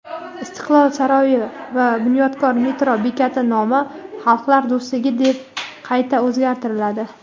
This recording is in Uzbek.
"Istiqlol" saroyi va "Bunyodkor" metro bekati nomi "Xalqlar do‘stligi" deb qayta o‘zgartiriladi.